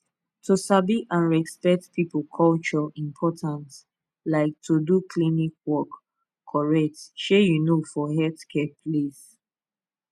to sabi and respect people culture important like to do klinik work correct shey you know for healthcare place